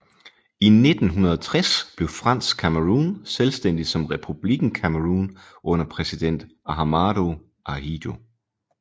I 1960 blev Fransk Cameroun selvstændigt som Republikken Cameroun under præsident Ahmadou Ahidjo